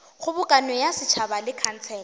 kgobokano ya setšhaba le khansele